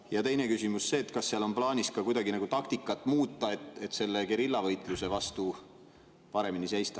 Ja teine küsimus on see, kas seal on plaanis ka kuidagi taktikat muuta, et selle geriljavõitluse vastu paremini seista.